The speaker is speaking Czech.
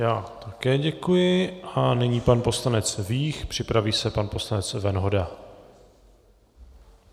Já také děkuji a nyní pan poslanec Vích, připraví se pan poslanec Venhoda.